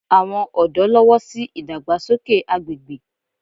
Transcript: Àwọn ọ̀dọ́ lọ́wọ́ sí ìdàgbàsókè agbègbè